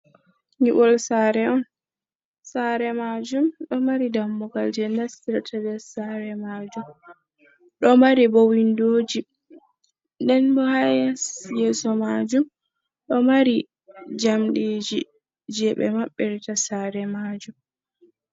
Nyiɓol saare on, saare majum ɗo mari dammugal je nastirata be sare majum, ɗo mari bo windoji nden bo ha yasi yeso majum ɗo mari jamdiji je ɓe mabbirita sare majum.